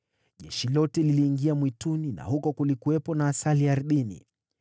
Jeshi lote liliingia mwituni, na huko kulikuwepo na asali ardhini.